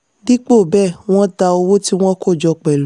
dípò bẹ́ẹ̀ wọ́n ta owó tí wọ́n kó jọ pẹ̀lú.